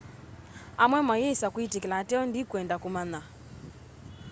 amwe mayĩsa kwĩtĩkĩla ateo ndĩkwenda kũmanya